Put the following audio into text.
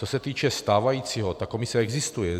Co se týče stávajícího, ta komise existuje.